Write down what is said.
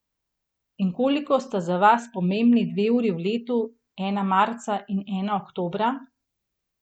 In koliko sta za vas pomembni dve uri v letu, ena marca in ena oktobra?